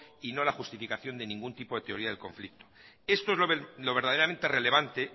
y no la justificación de ningún tipo de teoría del conflicto esto es lo verdaderamente relevante